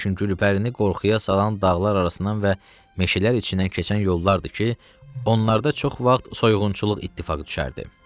Lakin Gülpərini qorxuya salan dağlar arasından və meşələr içindən keçən yollardır ki, onlarda çox vaxt soyğunçuluq ittifaqı düşərdi.